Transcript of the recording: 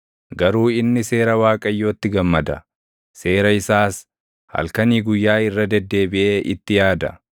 Garuu inni seera Waaqayyootti gammada; seera isaas halkanii guyyaa irra deddeebiʼee itti yaada.